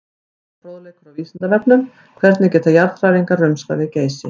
Frekari fróðleikur á Vísindavefnum: Hvernig geta jarðhræringar rumskað við Geysi?